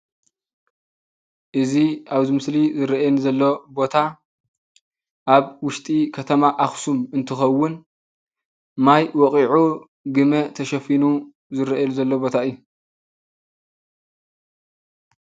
እዚ ኣብ ምስሊ ዝርአየኒ ዘሎ ቦታ ኣብ ውሽጢ ከተማ ኣክሱም እንትኸውን ማይ ወቅዑ ግመ ተሸፊኑ ዝርኣየሉ ዘሎ ቦታ እዩ።